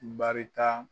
Barita